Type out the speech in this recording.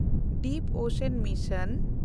deep ocean mission